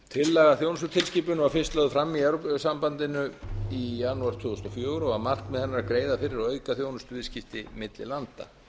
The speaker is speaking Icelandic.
tillaga að þjónustutilskipun var fyrst lögð fram í evrópusambandinu í janúar tvö þúsund og fjögur og var markmið hennar að greiða fyrir og auka þjónustuviðskipti milli landa